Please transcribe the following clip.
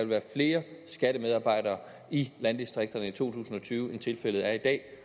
være flere skattemedarbejdere i landdistrikterne i to tusind og tyve end tilfældet er i dag